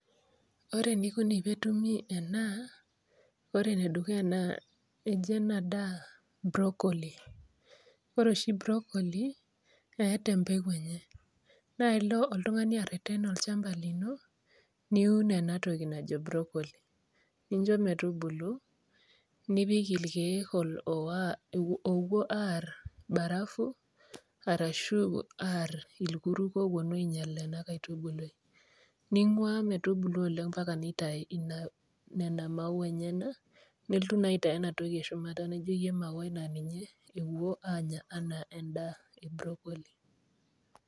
Ore eneikuni tenetumi enaa, naa ore enedukuya eji ena daa broccoli ore oshi broccoli eata empeku enye, naa ilo oltung'ani areten olchamba lino, niun ena toki najo broccoli, ninjo metubulu, nipik ilkeek owuo aar barafu arashu aar ilkurruk oowuonu ainyal ena kaitubului. Ning'ua metubulu oleng mpaka neitai nena maua enyena nilotu naa aitayu ena toki eshumata naijoyie emauai naa ninye ewoi anya anaa endaa e broccoli.